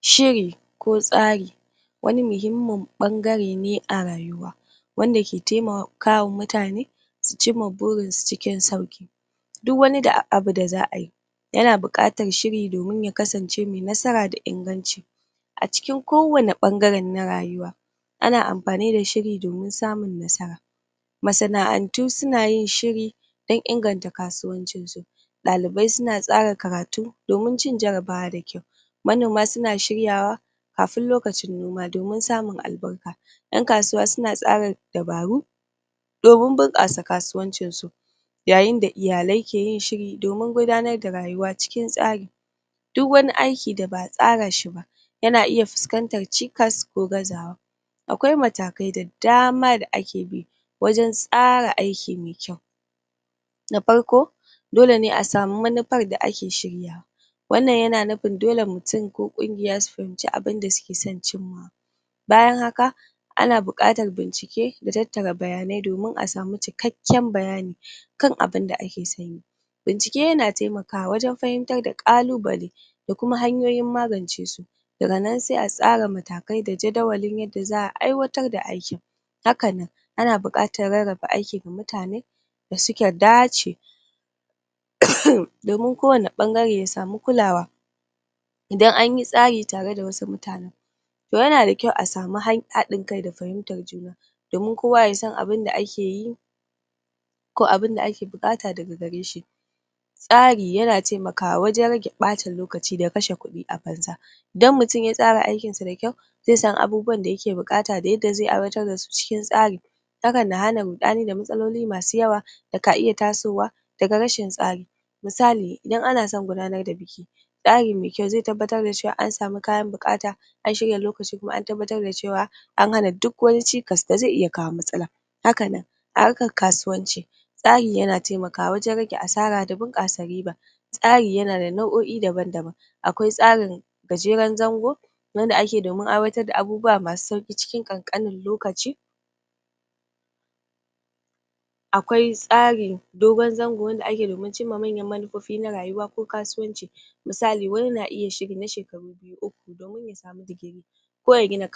Shiri ko tsari wani muhimmin ɓangare ne na rayuwa wanda ke taimakawa mutane su cimma burinsu cikin sauƙi. Duk wani abu da za a yi yana buƙatar shiri somin ya kasance mai nasara da inganci. A cikin ko wane ɓangare na rayuwa ana amfani da shiri domin samun nasara Masana'antu suna yin shiri don inganta kasuwancin su, ɗalibai suna tsara karatu don cin jarabawa da kyau, manoma suna shiryawa kafin lokacin noma domin samun albarka. ƴan kasuwa suna tsara dabaru domin bunƙasa kasuwancinsu yayin da iyalai ke yin shiri domin gudanar da rayuwa cikin tsari Duk wani aiki da ba a tsara shi ba yana iya fuskantar cikas ko gazawa Akwai matakai da dama da ake bi wajen tsara aiki mai kyau Na farko, dole ne a samu manufar da ake shiryawa wannan yana nufin dle mutum ko ƙungiya su fahimci abunda suke son cims Bayan haka, ana buƙatar bincike dat tattara bayanai domin a samu cikakken bayani kan abinda ake son yi Bincike yana taimakawa wajen fahimtar da ƙalubale da kuma hanyoyin magance su daga nan sai a tsara matakai da jadawalin yada za a aiwatar da aikin Haka nan, ana buƙatar rarraba aiki ga mutane da suka dace domin ko wani ɓangare ya samu kulawa idan anyi tsari tare da wasu mutanen toh yana kyau a samu haɗin kai da fahimtar juna domin kowa ya san abunda ake yi ko abunda ake buƙata daga gareshi Tsari yana taimakawa wajen rage ɓata lokaci da kashe kudi a banza Idan mutum ya tsara aikin sa da kyau, zai san abubuwan da yake buƙata da yadda zai aiwatar da su cikin tsari hakan na hana ruɗani da matsaloli masu yawa da ka iya tasowa daga rashin tsari misali, idan ana son gudanar da biki tsari mai kyau zai tabbatar da cewa an samu kayan buqata an shirya lokaci kuma an tabbatar da cewa an hana duk wani cikas da zai iya kawo matsala Haka nan a harkar kasuwanci tsari yana taimakawa wajen rage asara da bunƙasa ruba Tsari yana da nau'o'i daban-daban akwai tsarin gajeren zango wanda ake yi domin aiwatar da abubuwa masu sauƙi cikin ƙanƙanin lokaci Akwai tsarin dogon zango wanda ake yi domin cimma manyan manufofi na rayuwa ko kasuwanci misali wani na iya shiri na shekaru biyu ko uku domin ya samu digiri ko ya gina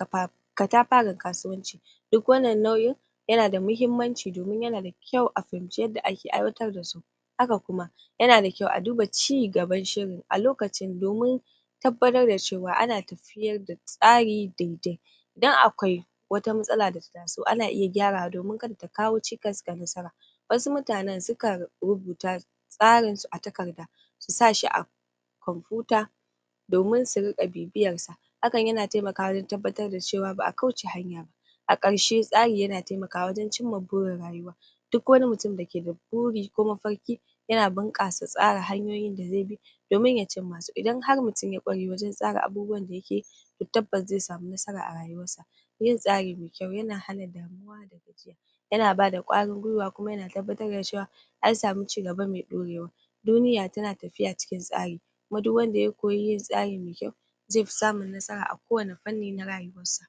katafaren kasuwaci Duk wannan nau'in yana da muhimmanci domin yana da kyau a fahimci yadda ake aiwatar da su Haka kuma yana da kyau a duba cigaban shirin a lokacin domin tabbatar da cewa ana tafiyar da tsari daidai don akwai wata matsala da ta taso ana iya gyarawa domin kada ta kawo cikas ga nasara Wassu mutanen sukan rubuta tsarinsu a takarda su sa shi a komfuta domin su riƙa bibiyarsa hakan yana taimakawa wajen tabbatar da cewa ba a kauce hanya ba A ƙarshe, tsari yana taimakawa waje cimma burin rayuwa duk wani mutum dake da buri ko mafarki yana bunƙasa tsara hanyoyin da zai bi domin ya cimmasu Idan har mutum ya ƙware wajen tsara abubuwan da yake yi to tabbas zai samu nasara a rayuwarsa Yin tsari mai yau yana hana damuwa da gajiya yana ba da ƙwarin gwiwa kuma yana tabbatar da cewa an samu cigaba mai ɗaurewa Duniyat tana tafiya cikin tsari kuma duk wanda ya koyi yin tsari mai kyau zai fi samun nasara a ko wani fanni na rayuwarsa.